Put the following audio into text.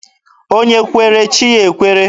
Onye kwere, chi ya ekwere.